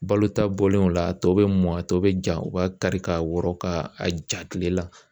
Balotaw bɔlen o la a tɔ bɛ mɔn, a tɔ bɛ ja u b'a kari ka wɔrɔn ka a ja kile la.